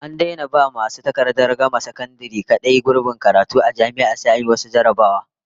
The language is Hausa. An daina ba masu takardar gama sakandare kadai gurbin karatu a jami'a, sai an yi wasu jarrabawoyi